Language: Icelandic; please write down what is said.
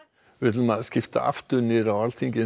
ætlum við að skipta aftur niður á Alþingi en